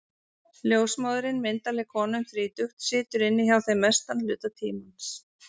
Ljósmóðirin, myndarleg kona um þrítugt, situr inni hjá þeim mestan hluta tímans.